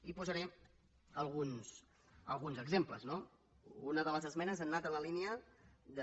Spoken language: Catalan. i en posaré alguns exemples no una de les esmenes ha anat en la línia de